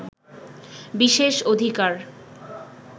বিশেষ অধিকার